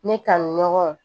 Ne ka ɲɔgɔn